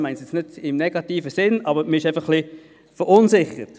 Das meine ich nicht im negativen Sinn, aber man ist einfach ein bisschen verunsichert.